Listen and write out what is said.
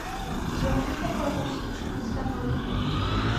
джой что такое усики членистоногих